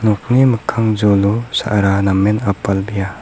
nokni mikkang jolo sa·ra namen apalbea.